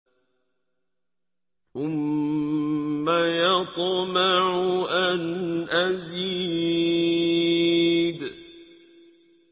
ثُمَّ يَطْمَعُ أَنْ أَزِيدَ